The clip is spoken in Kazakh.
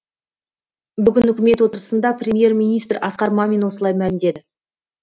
бүгін үкімет отырысында премьер министр асқар мамин осылай мәлімдеді